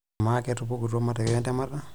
Amaa, ketupukutuo matokeo entemata?